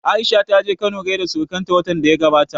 Aisha ta je Kano gaida surukan ta watan da ya gabata